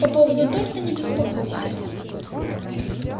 по поводу торта не беспокойся